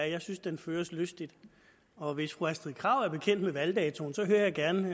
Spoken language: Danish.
jeg synes den føres lystigt og hvis fru astrid krag er bekendt med valgdatoen så hører jeg gerne